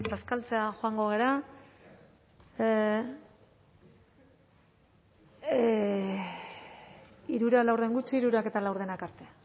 bazkaltzera joango gara hirurak laurden gutxi hirurak eta laurdenak arte